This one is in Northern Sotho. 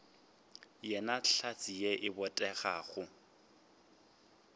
yena hlatse ye e botegago